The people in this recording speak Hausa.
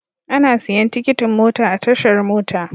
Ana siyan tikitin mota a tashar mota.